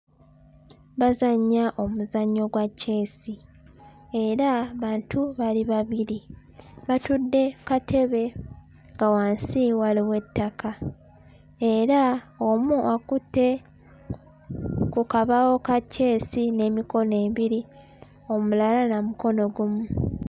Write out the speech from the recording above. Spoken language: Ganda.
Bazannya omuzannyo gwa kyesi era bantu bali babiri batudde kkatebe nga wansi waliwo ettaka era omu akutte ku kabaawo ka kyesi n'emikono ebiri omulala na mukono gumu.